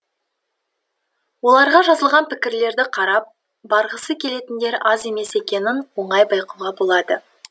оларға жазылған пікірлерді қарап барғысы келетіндер аз емес екенін оңай байқауға болады